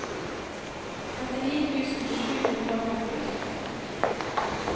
trettini tusen sju hundre og femtiåtte